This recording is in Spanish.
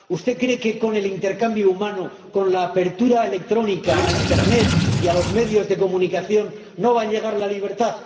¿Usted cree que, con el intercambio humano, con la apertura electrónica a Internet y a los medios de comunicación no va a llegar a la libertad?